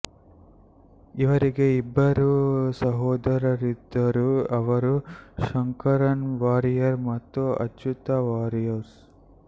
ಇವರಿಗೆ ಇಬ್ಬರು ಸೊದರರಿದ್ದರು ಅವರು ಶಂಕರನ್ ವಾರಿಯರ್ ಮತ್ತು ಅಚ್ಚುತ ವಾರಿಯರ್